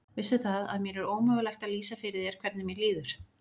Veistu það, að mér er ómögulegt að lýsa fyrir þér hvernig mér líður.